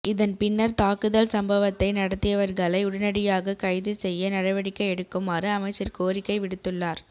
இதன்பின்னர் தாக்குதல் சம்பவத்தை நடத்தியவர்களை உடனடியாக கைது செய்ய நடவடிக்கை எடுக்குமாறு அமைச்சர் கோரிக்கை விடுத்துள்ளார்